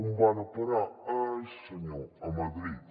on van a parar ai senyor a madrid